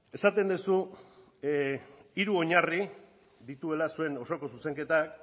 esaten duzu hiru oinarri dituela zuen osoko zuzenketak